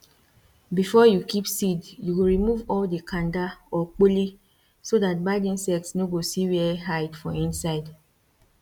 before you keep seed you go remove all the kanda or kpoli so dat bad insect nor go see where hide for inside